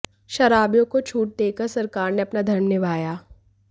शराबियों को छूट देकर सरकार ने अपना धर्म निभाया